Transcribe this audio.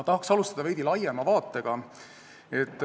Tahan alustada veidi laiema vaatega.